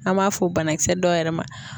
An m'a fɔ o banakisɛ dɔ yɛrɛ ma